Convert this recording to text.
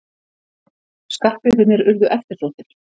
Skartgripirnir urðu eftirsóttir.